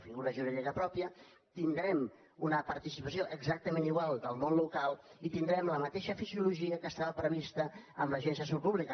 figura jurídica pròpia tindrem una participació exactament igual del món local i tindrem la mateixa fisiologia que estava prevista amb l’agència de salut pública